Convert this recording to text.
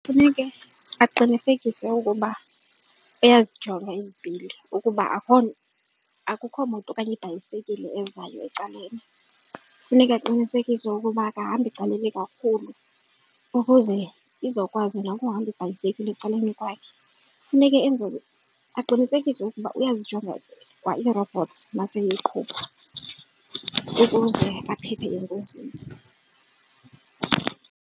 Funeka aqinisekise ukuba uyozijonga izipili ukuba akukho akukho moto okanye ibhayisekile ezayo ecaleni. Funeka aqinisekise ukuba akahambi caleni kakhulu ukuze izokwazi nokuhamba ibhayisekile ecaleni kwakhe. Funeke enzele aqinisekise ukuba uyozijonga kwa iirobhothsi maseyeqhuba ukuze aphephe engozini.